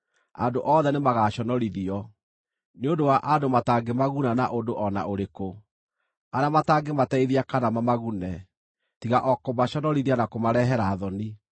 andũ othe nĩmagaconorithio nĩ ũndũ wa andũ matangĩmaguna na ũndũ o na ũrĩkũ, arĩa matangĩmateithia kana mamagune, tiga o kũmaconorithia na kũmarehera thoni.”